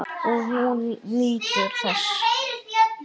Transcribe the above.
Og hún nýtur þess.